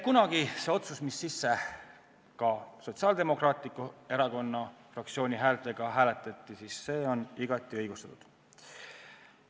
Nii et otsus, mis kunagi ka Sotsiaaldemokraatliku Erakonna fraktsiooni häältega langetati, on igati õigustatud.